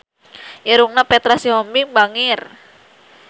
Irungna Petra Sihombing bangir